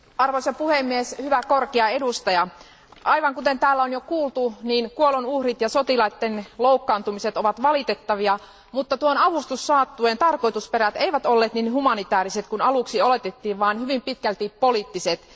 Arvoisa puhemies, hyvä korkea edustaja, aivan kuten täällä on jo kuultu, kuolonuhrit ja sotilaitten loukkaantumiset ovat valitettavia, mutta tuon avustussaattueen tarkoitusperät eivät olleet niin humanitääriset kuin aluksi oletettiin, vaan hyvin pitkälti poliittiset.